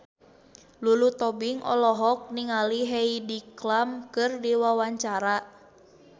Lulu Tobing olohok ningali Heidi Klum keur diwawancara